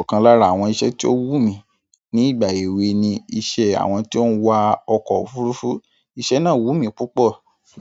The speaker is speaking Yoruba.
Ọ̀kan lára àwọn iṣẹ́ tí ó wù mí ní ìgbà èwe ni iṣẹ́ àwọn tí ó ń wa ọkọ̀ òfurufú. Iṣẹ́ náà wù mí púpọ̀